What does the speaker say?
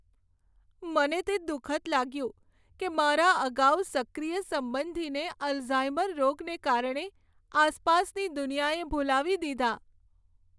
મને તે દુખદ લાગ્યું કે મારા અગાઉ સક્રિય સંબંધીને અલ્ઝાઈમર રોગને કારણે આસપાસની દુનિયાએ ભૂલાવી દીધા.